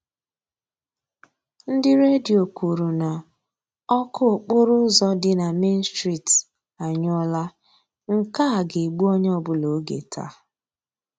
Ndị Redio kwuru na ọkụ okporo ụzọ dị na Main street anyụọla; nke a ga-egbu onye ọbụla oge taa.